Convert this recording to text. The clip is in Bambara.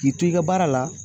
K'i to i ka baara la